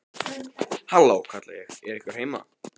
Halló, kalla ég, er einhver heima?